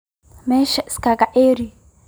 Mesha iskakacarar.